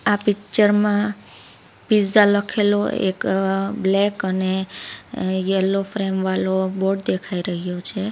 આ પીચ્ચર માં પીઝા લખેલો એક અ બ્લેક અને અ યેલ્લો ફ્રેમ વાલો બોર્ડ દેખાઈ રહ્યો છે.